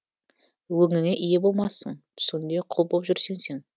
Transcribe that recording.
өңіңе ие болмассың түсіңде құл боп жүрсең сен